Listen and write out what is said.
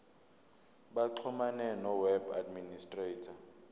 baxhumane noweb administrator